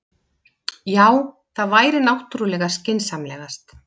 Já, það væri náttúrlega skynsamlegast.